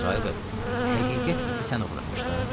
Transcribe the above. Əzrayıl bəy, həqiqət iti sən uğramışdın?